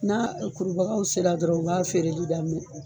N'a kurubagaw sera dɔrɔn u b'a feereli daminɛ.